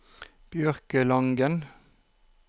Bjørkelangen